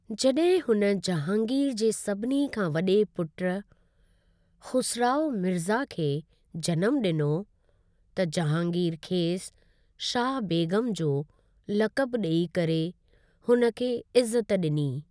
जॾहिं हुन जहांगीर जे सभिनी खां वॾे पुट खुसराओ मिर्ज़ा खे जन्म ॾिनो, त जहांगीर खेसि शाह बेग़म जो लक़ब ॾेई करे हुन खे इज़्ज़त ॾिनी।